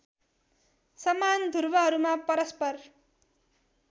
समान ध्रुवहरूमा परस्पर